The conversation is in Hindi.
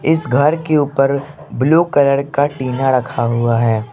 इस घर के ऊपर ब्लू कलर का टिना रखा हुआ है।